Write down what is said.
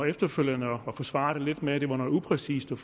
efterfølgende forsvaret med at det var noget upræcist